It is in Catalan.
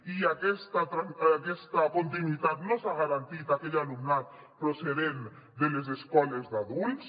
i aquesta continuïtat no s’ha garantit a aquell alumnat procedent de les escoles d’adults